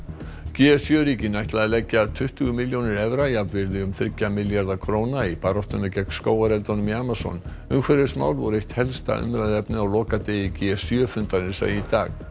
g sjö ríkin ætla að leggja tuttugu milljónir evra jafnvirði um þriggja milljarða króna í baráttuna gegn skógareldunum í Amazon umhverfismál voru eitt helsta umræðuefnið á lokadegi g sjö fundarins í dag